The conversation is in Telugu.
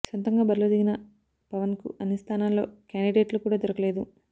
సొంతంగా బరిలో దిగిన పవన్కు అన్ని స్థానాల్లో క్యాండిడేట్లు కూడా దొరకలేదు